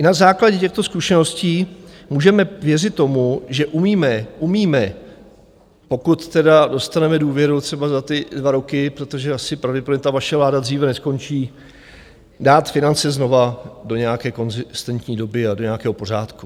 I na základě těchto zkušeností můžeme věřit tomu, že umíme, umíme, pokud teda dostaneme důvěru třeba za ty dva roky, protože asi pravděpodobně ta vaše vláda dříve neskončí, dát finance znovu do nějaké konzistentní doby a do nějakého pořádku.